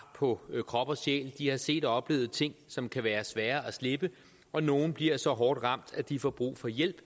på krop og sjæl de har set og oplevet ting som kan være svære at slippe og nogle bliver så hårdt ramt at de får brug for hjælp